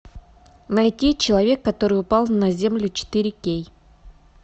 найти человек который упал на землю четыре кей